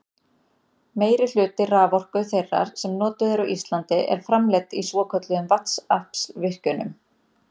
Meirihluti raforku þeirrar sem notuð er á Íslandi er framleidd í svokölluðum vatnsaflsvirkjunum.